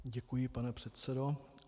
Děkuji, pane předsedo.